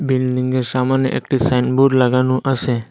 বিল্ডিংয়ের সামনে একটি সাইন বোর্ড লাগানো আসে ।